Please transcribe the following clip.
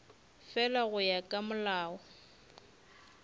fela go ya ka molao